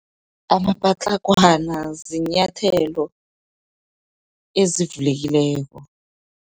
Amapatlagwana, ziinyathelo ezivulekileko.